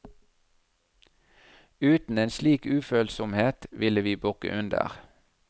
Uten en slik ufølsomhet ville vi bukke under.